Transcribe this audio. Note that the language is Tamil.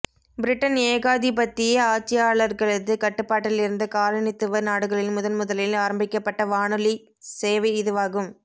பிரிட்டன் ஏகாதிபத்திய ஆட்சியாளர்களது கட்டுப்பாட்டில் இருந்த காலனித்துவ நாடுகளில் முதன்முதலில் ஆரம்பிக்கப்பட்ட வானொலிச் சேவை இதுவாகும்